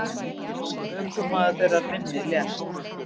Ökumaður þeirrar minni lést.